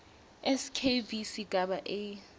skv sigaba a